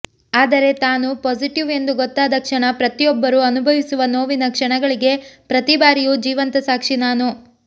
ಆದರೆ ತಾನು ಪಾಸಿಟಿವ್ ಎಂದು ಗೊತ್ತಾದ ಕ್ಷಣ ಪ್ರತಿಯೊಬ್ಬರೂ ಅನುಭವಿಸುವ ನೋವಿನ ಕ್ಷಣಗಳಿಗೆ ಪ್ರತಿ ಬಾರಿಯೂ ಜೀವಂತ ಸಾಕ್ಷಿ ನಾನು